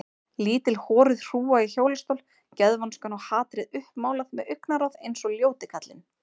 Lítil horuð hrúga í hjólastól, geðvonskan og hatrið uppmálað með augnaráð eins og ljóti kallinn.